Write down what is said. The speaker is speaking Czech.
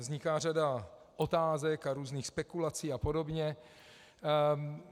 Vzniká řada otázek a různých spekulací a podobně.